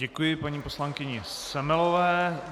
Děkuji paní poslankyni Semelové.